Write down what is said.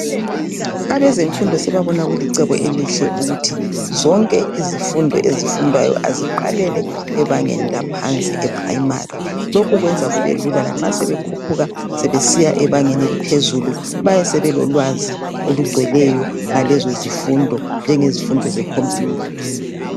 Abezemfundo sebabona kulicebo elihle ukuthi zonke izifundo ezifundwayo aziqalele ebangeni laphansi eprimary lokhu kwenza kube lula lanxa sebekhuphuka sebesiya ebangeni eliphezulu bayabe sebelolwazi olugcweleyo ngalezozifundo njengezifundo ze computer